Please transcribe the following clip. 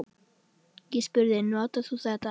Ég spurði: Notar þú þetta?